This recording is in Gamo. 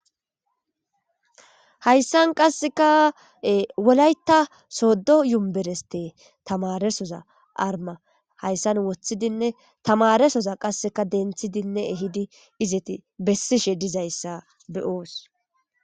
hayssan qasseka wolayta soddo yumbereste tamaresoza arma hayssan woththidinne tamaresoza qasseka denthidinne ehidi izeti bessishe dizayssa beyoos